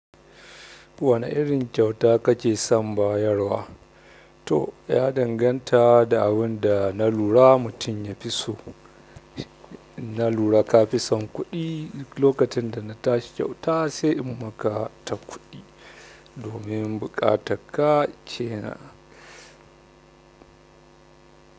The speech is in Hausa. Wani irin kyauta kake son bayarwa? To, ya danganta da abin da na lura mutum ya fi so. Na lura ka fi son kuɗi, duk lokacin da na tashi kyauta sai in maka ta kuɗi domin buƙatakka kenan.